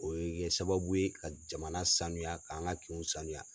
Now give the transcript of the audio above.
O ye bɛ kɛ sababu ye ka jamana sanuya k'an ka kinw sanuya.